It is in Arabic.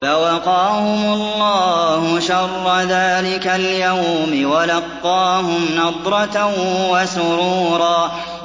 فَوَقَاهُمُ اللَّهُ شَرَّ ذَٰلِكَ الْيَوْمِ وَلَقَّاهُمْ نَضْرَةً وَسُرُورًا